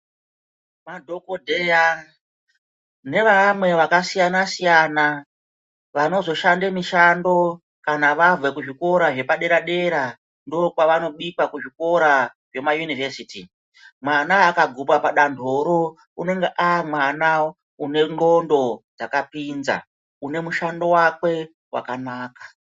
Madhokodheya neevamwe vakasiyana siyana vanozoshande mishando kana vabve kuzvikora zvepadera dera ndokwavanodikwa kuzvikora zvemayunivhesiti mwana akagupa padandoro unenge avamwana anengqondo dzakapinza une mushando wake wakanaka.